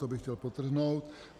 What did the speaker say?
To bych chtěl podtrhnout.